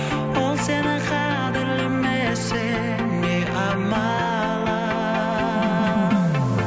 ол сені қадірлемесе не амалың